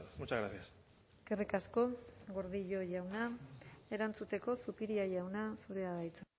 muchas gracias eskerrik asko gordillo jauna erantzuteko zupiria jauna zurea da hitza